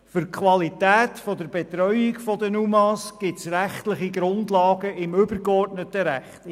Für die Qualität der Betreuung der UMA gibt es rechtliche Grundlagen im übergeordneten Recht.